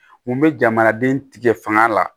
N bɛ jamanaden tigɛ fanga la